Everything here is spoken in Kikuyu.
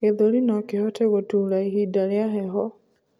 gĩthũri nokihote gutuura ihinda rĩa heho